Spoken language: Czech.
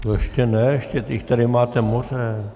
Ještě ne, ještě jich tady máte moře.